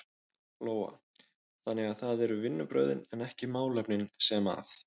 Lóa: Þannig að það eru vinnubrögðin en ekki málefnin sem að?